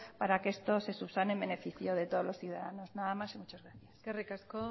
para que esto se subsane en beneficio de todos los ciudadanos nada más y muchas gracias eskerrik asko